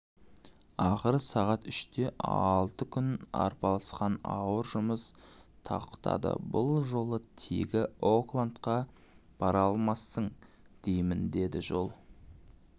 ақыры сағат үште алты күн арпалысқан ауыр жұмыс тоқтадыбұл жолы тегі оклендқа бара алмассың деймін деді джо